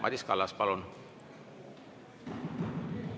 – Madis Kallas, palun!